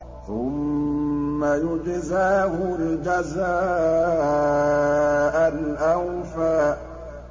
ثُمَّ يُجْزَاهُ الْجَزَاءَ الْأَوْفَىٰ